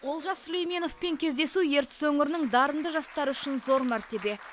олжас сүлейменовпен кездесу ертіс өңірінің дарынды жастары үшін зор мәртебе